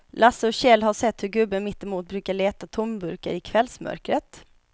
Lasse och Kjell har sett hur gubben mittemot brukar leta tomburkar i kvällsmörkret.